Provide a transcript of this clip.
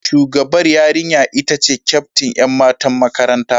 Shugabar yarinya ita ce kyaftin ’yan matan makaranta.